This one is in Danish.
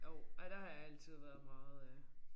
Jo ja der har jeg altid været meget øh